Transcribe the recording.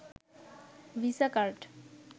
visa card